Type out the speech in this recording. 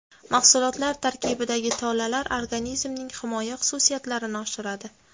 Mahsulotlar tarkibidagi tolalar organizmning himoya xususiyatlarini oshiradi.